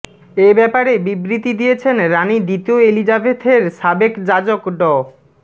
এ ব্যাপারে বিবৃতি দিয়েছেন রানি দ্বিতীয় এলিজাবেথের সাবেক যাজক ড